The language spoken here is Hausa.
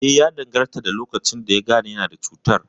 Eh, ya danganta da lokacin da yagane yana da cutar